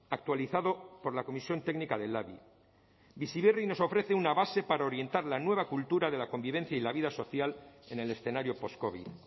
actualizado por la comisión técnica del labi bizi berri nos ofrece una base para orientar la nueva cultura de la convivencia y la vida social en el escenario post covid